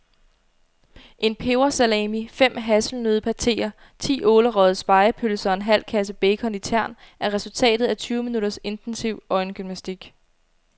En pebersalami, fem hasselnøddepateer, ti ålerøgede spegepølser og en halv kasse bacon i tern er resultatet af tyve minutters intensiv øjengymnastik.